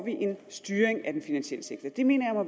en styring af den finansielle sektor det mener jeg